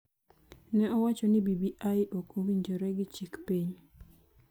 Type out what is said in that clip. ne owacho ni BBI ok owinjore gi chik piny,